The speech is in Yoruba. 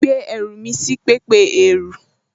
Mo ti gbé ẹrù mi sí pẹpẹ ẹrú